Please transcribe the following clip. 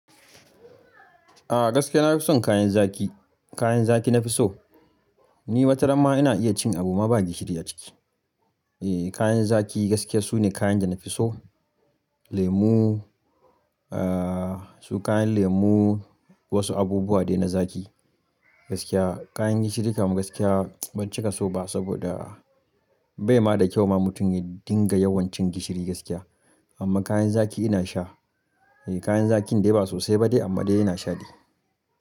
A gaskiya na fi son kayan zaƙi. Kayan zaƙi na fi so. Ni wata ranama ina iya cin abu ma ba gishiri a ciki. E, kayan zaƙi gaskiya su ne kayan da na fi so. Lemu, ah su kayan lemu wasu abubuwa dai na zaƙi gaskiya. Kayan gishiri kam gaskiya ban cika so ba saboda bai ma da kyau ma mutum ya dinga yawan cin gishiri gaskiya. Amma kayan zaƙi ina sha. E kayan zaƙin dai ba sosai ba ne amma dai ina shaɗi.